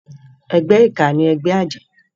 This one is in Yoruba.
Ègbè iká ni ègbè àjë